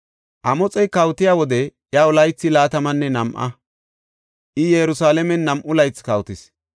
Amoxey kawotiya wode iyaw laythi laatamanne nam7a; I Yerusalaamen nam7u laythi kawotis.